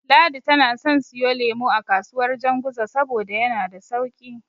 Ladi tana son siyo lemo a kasuwar Janguza saboda yana da sauƙi.